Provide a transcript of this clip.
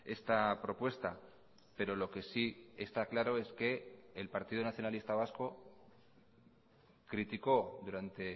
esta propuesta pero lo que sí está claro es que el partido nacionalista vasco criticó durante